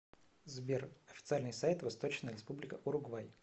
сбер официальный сайт восточная республика уругвай